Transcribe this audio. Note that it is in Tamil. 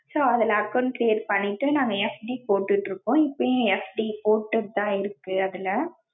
so அதுல account create பண்ணிட்டு நாங்க FD போட்டுட்டு இருக்கோம். இப்பயும் FD போட்டுட்டு தான் இருக்கு அதுல.